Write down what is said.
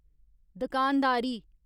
दकानदारी